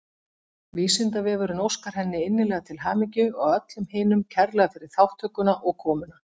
Vísindavefurinn óskar henni innilega til hamingju og öllum hinum kærlega fyrir þátttökuna og komuna.